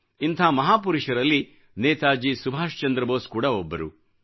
ಇಂಥ ಮಹಾಪುರುಷರಲ್ಲಿ ನೇತಾಜಿ ಸುಭಾಷ್ ಚಂದ್ರ ಬೋಸ್ ಕೂಡಾ ಒಬ್ಬರು